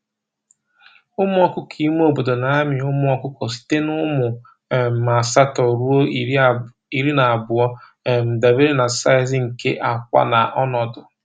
Ụmụ ọkụkọ ime obodo na-amị ụmụ ọkụkọ site n’ụmụ um asatọ ruo iri na abụọ, um dabere na size nke akwa na ọnọdụ.